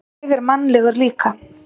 Ég er mannlegur líka.